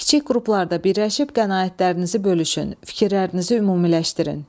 Kiçik qruplarda birləşib qənaətlərinizi bölüşün, fikirlərinizi ümumiləşdirin.